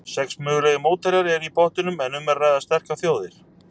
Sex mögulegir mótherjar eru í pottinum en um er að ræða sterkar þjóðir.